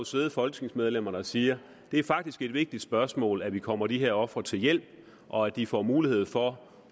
sidde folketingsmedlemmer der siger det er faktisk et vigtigt spørgsmål at vi kommer de her ofre til hjælp og at de får mulighed for